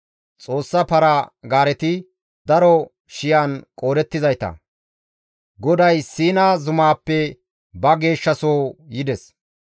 Xoossa para-gaareti daro shiyan qoodettizayta; Goday Siina zumaappe ba geeshshasoho yides.